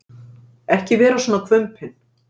Ekki vera svona hvumpinn.